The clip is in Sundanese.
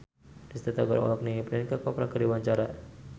Risty Tagor olohok ningali Priyanka Chopra keur diwawancara